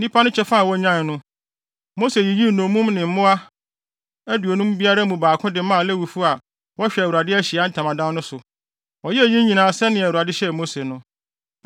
Nnipa no kyɛfa a wonyae no, Mose yiyii nnommum ne mmoa aduonum biara mu baako de maa Lewifo a wɔhwɛ Awurade Ahyiae Ntamadan so no. Wɔyɛɛ eyi nyinaa sɛnea Awurade hyɛɛ Mose no.